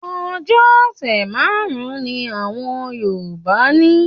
Ọjọ ọ̀sẹ̀ márùn-un ní àwọn Yorùbá ní.